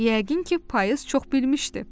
Yəqin ki, payız çox bilmişdi.